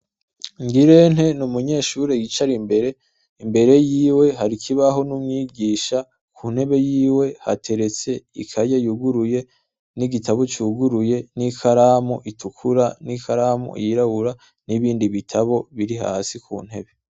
Ngirente ni umunyeshure yicara imbere, imbere yiwe hari ikibaho n' umwigisha, ku ntebe yiwe hateretse ikaye yuguruye, n' igitabo cuguruye n' ikaramu itukura, n' ikaramu yirabura, n' ibindi bitabo biri hasi ku ntebe.